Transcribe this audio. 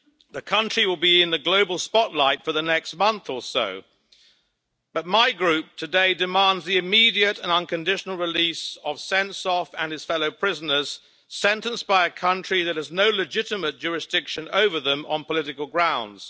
The country will be in the global spotlight for the next month or so, but my Group today demands the immediate and unconditional release of Sentsov and his fellow prisoners, sentenced by a country that has no legitimate jurisdiction over them on political grounds.